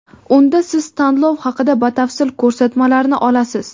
Unda siz tanlov haqida batafsil ko‘rsatmalarni olasiz.